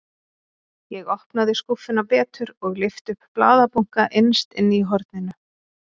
Ég opnaði skúffuna betur og lyfti upp blaðabunka innst inni í horninu.